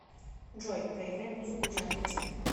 джой проиграй музыку в жанре техно